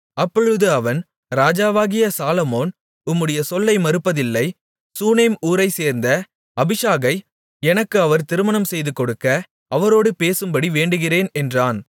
அப்பொழுது அவன் ராஜாவாகிய சாலொமோன் உம்முடைய சொல்லை மறுப்பதில்லை சூனேம் ஊரைச்சேர்ந்த அபிஷாகை எனக்கு அவர் திருமணம் செய்துகொடுக்க அவரோடு பேசும்படி வேண்டுகிறேன் என்றான்